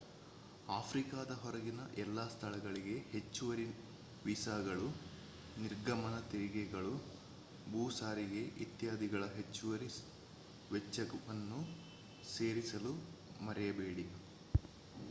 ಆಫ್ರಿಕಾದ ಹೊರಗಿನ ಎಲ್ಲ ಸ್ಥಳಗಳಿಗೆ ಹೆಚ್ಚುವರಿ ವೀಸಾಗಳು ನಿರ್ಗಮನ ತೆರಿಗೆಗಳು ಭೂ ಸಾರಿಗೆ ಇತ್ಯಾದಿಗಳ ಹೆಚ್ಚುವರಿ ವೆಚ್ಚಗಳನ್ನು ಸೇರಿಸಲು ಮರೆಯಬೇಡಿ